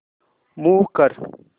move कर